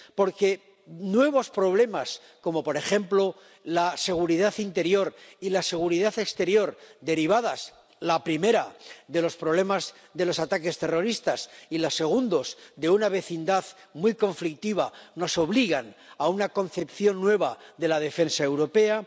porque nuevos problemas, como por ejemplo la seguridad interior y la seguridad exterior —derivadas, la primera de los problemas de los ataques terroristas, y la segunda de una vecindad muy conflictiva— nos obligan a una concepción nueva de la defensa europea